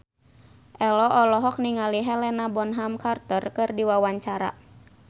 Ello olohok ningali Helena Bonham Carter keur diwawancara